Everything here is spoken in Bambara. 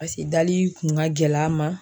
Pase dali kun ka gɛl' a ma